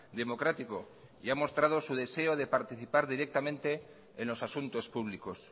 democrático y ha mostrado su deseo de participar directamente en los asuntos públicos